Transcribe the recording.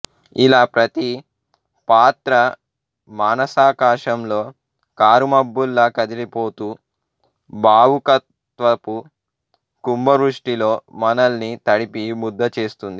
ఇలా ప్రతి పాత్రా మానసాకాశంలో కారుమబ్బులా కదిలిపోతూ భావుకత్వపు కుంభవృష్టిలో మనల్ని తడిపి ముద్ద చేస్తుంది